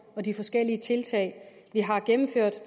og de forskellige tiltag vi har gennemført